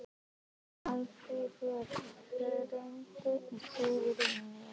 Málfríður, hringdu í Sigurnýjas.